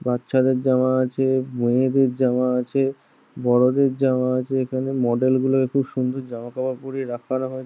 বাচ্চাদের জামা আছে মেয়েদের জামা আছে বড়োদের জামা আছে এখানে মডেল গুলো খুব সুন্দর জামাকাপড় পড়িয়ে রাখানো হয়ে--